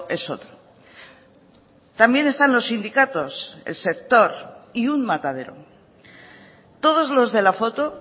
es otro también están los sindicatos el sector y un matadero todos los de la foto